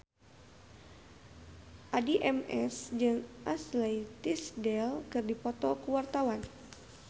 Addie MS jeung Ashley Tisdale keur dipoto ku wartawan